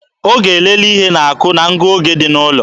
Ọ ga-elele ihe na-akụ na ngụoge dị n'ụlọ